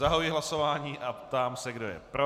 Zahajuji hlasování a ptám se, kdo je pro.